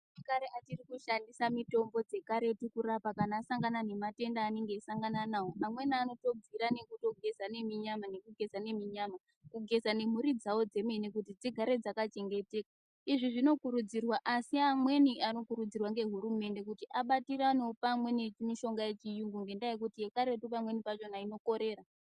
Antu ekare achiri kushandisa mitombo dze karetu kurapa kana asangana ne matenda anenge eyi sangana nawo ma mweni anoto bvira nekuto geza ne minyama neku geza nemi nyama kugeza ne mhuri dzavo dzemene kuti dzigare dzaka chengeteka izvi zvino kurudzirwa asi amweni ano kurudzirwa nge hurumende kuti abatiranewo pamwe ne mishonga ye chiyungu ngenda yekuti ye karetu pamweni pachona ino korera.